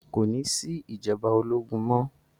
Kò ní sí ìjọba ológun mọ́.